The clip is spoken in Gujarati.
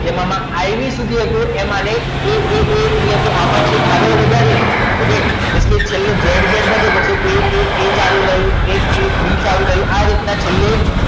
તેમાં ib સુધી તો એ એ એ એટલે કે આમાં ચેક આગળ વધારીએ okay તો zz સુધી એ એ આવે એ બી આવી ગયો આવી રીતના